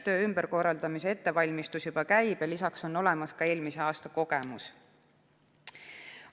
Töö ümberkorraldamise ettevalmistus juba käib ja lisaks on olemas ka eelmise aasta kogemus.